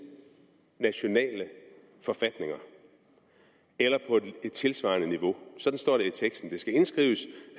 nationale forfatninger eller på et tilsvarende niveau sådan står der i teksten det skal indskrives